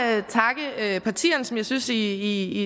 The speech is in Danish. jeg partierne som jeg synes i